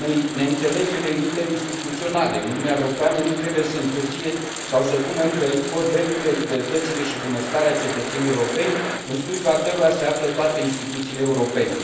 Neînțelegerile interinstituționale din Uniunea Europeană nu trebuie să întârzie sau să pună în pericol drepturile, libertățile și bunăstarea cetățenilor europeni, în slujba cărora se află toate instituțiile europene.